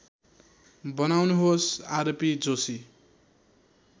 बनाउनुहोस् आरपी जोशी